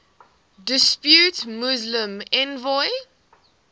depute muslim envoy